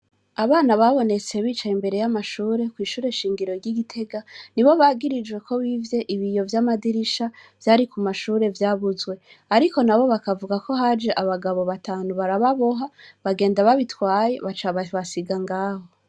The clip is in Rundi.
Abana babonetse bicaye imbere y'amashure kw'ishure Nshingiro ry'i Gitega, nibo bagirijwe ko bivye ibiyo vy'amadirisha vyabuzwe, ariko nabo bakavuga ko haje abagabo batanu barababoha, bagenda babitwaye baca babasiga ngaho.